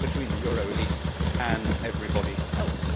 it is between the euro elites' and everybody else.